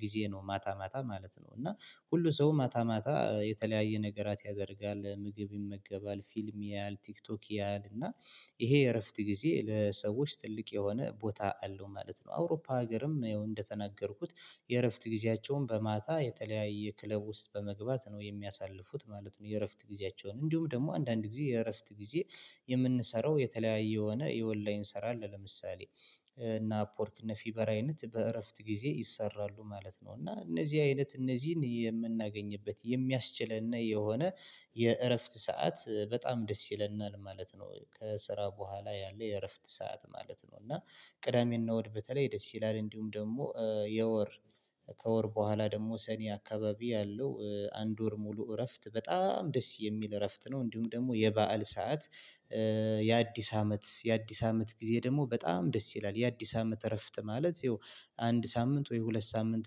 ጊዜ ነው ማታ ማታ ማለት ነው እና ሁሉ ሰው ማታ ማታ የተለያየ ነገራት ያደርጋል ምግብ ይመገባል ፊልም ያያል ቲክቶክ ያያል እና ይሄ የእረፍት ጊዜ ለሰዎች ትልቅ የሆነ ቦታ አለው ማለት ነው። አውሮፓ ሀገርም እንደተናገርኩት የእረፍት ጊዜያቸውን በማታ የተለያየ ክለብ ውስጥ በመግባት ነው የሚያሳልፉት ማለት ነው። የእረፍት ጊዜያቸውን እንዲሁም ደግሞ አንዳንድ ጊዜ የእረፍት ጊዜ የምንሰራው የተለያየ የሆነ የወላይን ለምሳሌ እነ አፕወርክ እነፊቨር አይነት በእረፍት ጊዜ ይሰራሉ ማለት ነው እና እነዚህ አይነት እነዚህን የምናገኝበት የሚያስችለን የሆነ የእረፍት ሰዓት በጣም ደስ ይለናል ማለት ነው። ከስራ በኋላ ያለ የእረፍት ሰዓት ማለት ነው እና ቅዳሜ እና እሁድ በተለይ ደስ ይላል እንዲሁም ደግሞ የወር ከወር በኋላ ደግሞ ሰኔ አካባቢ ያለው አንድ ወር ሙሉ እረፍት በጣም ደስ የሚል እረፍት ነው። እንዲሁም ደግሞ የበአል ሰዓት የአዲስ አመት የአዲስ አመት ጊዜ ደግሞ በጣም ደስ ይላል የአዲስ አመት እረፍት ማለት ይኸው አንድ ሳምንት ወይ ሁለት ሳምንት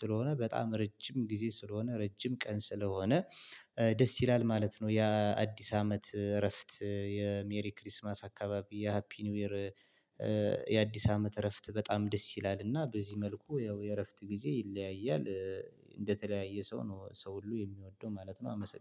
ስለሆነ በጣም ረጅም ጊዜ ስለሆነ ረጅም ቀን ስለሆነ ደስ ይላል ማለት ነው። ያ አዲስ አመት እረፍት የሜሪ ክሪስማስ አካባቢ የሃፒ ኒው ይር የአዲስ አመት እረፍት በጣም ደስ ይላል እና በዚህ መልኩ ያው የእረፍት ጊዜ ይለያያል። እንደተለያየ ሰው ነው ሰው ሁሉ የሚወደው ማለት ነው። አመሰግናለሁ